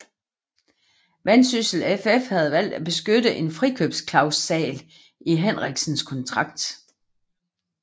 Vendsyssel FF havde valgt at benytte en frikøbsklausal i Henriksens kontrakt